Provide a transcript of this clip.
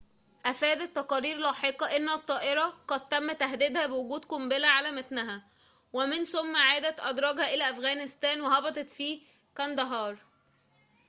أفادت تقارير لاحقة أن الطائرة قد تم تهديدها بوجود قنبلة على متنها ومن ثم عادت أدراجها إلى أفغانستان وهبطت في كانداهار